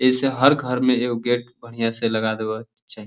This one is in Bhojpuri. एइसे हर घर में एगो गेट बढ़ियां से लगा देवे के चाही।